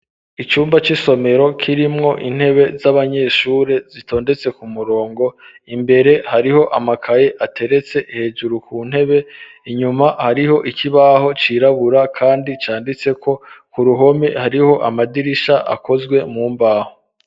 Icumba c'isomero, kirimwo intebe z'abanyeshure, zitondetse ku murongo; imbere, hariho amakaye, ateretse hejuru, ku ntebe; inyuma, hariho ikibaho cirabura, kandi canditseko; ku ruhome, hariho amadirisha, akozwe mu mbaho.